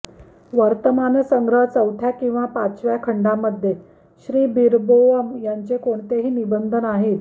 वर्तमान संग्रह चौथ्या किंवा पाचव्या खंडांमध्ये श्रीबीरबोअम यांचे कोणतेही निबंध नाहीत